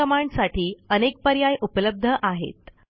मन कमांडसाठी अनेक पर्याय उपलब्ध आहेत